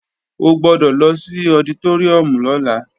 O gbọ́dọ̀ lọ sí ọditóríùm lọ́la